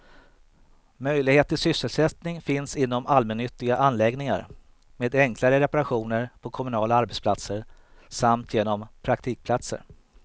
Möjlighet till sysselsättning finns inom allmännyttiga anläggningar, med enklare reparationer på kommunala arbetsplatser samt genom praktikplatser.